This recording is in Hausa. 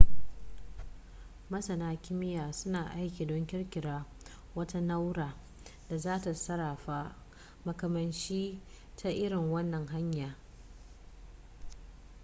masana kimiyya suna aiki don ƙirƙirar wata na'ura da za ta sarrafa makamashi ta irin wannan hanya